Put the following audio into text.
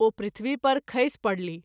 ओ पृथ्वी पर खसि परलीह।